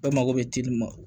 Bɛɛ mago bɛ ci ma